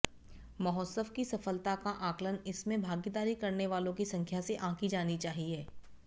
महोत्सव की सफलता का आकलन इसमें भागीदारी करने वालों की संख्या से आंकी जानी चाहिए